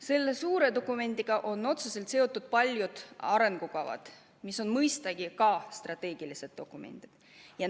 Selle suure dokumendiga on otseselt seotud paljud arengukavad, mis on mõistagi samuti strateegilised dokumendid.